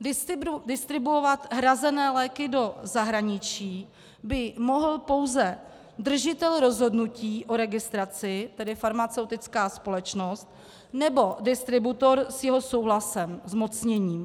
Distribuovat hrazené léky do zahraničí by mohl pouze držitel rozhodnutí o registraci, tedy farmaceutická společnost, nebo distributor s jeho souhlasem zmocněný.